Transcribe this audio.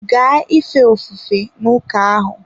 Gaa ife ofufe n'ụka ahụ!